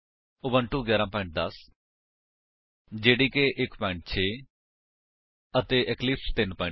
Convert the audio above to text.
Ubuntu version 11 10 OS Java development kit 1 6 ਅਤੇ Eclipse 3 7 0 ਇਸ tutorial ਨੂੰ ਸਮਝਣ ਲਈ ਤੁਹਾਨੂੰ ਪਤਾ ਹੋਣਾ ਚਾਹੀਦਾ ਹੈ